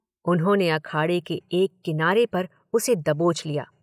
उन्होंने अखाड़े के एक किनारे पर उसे दबोच लिया।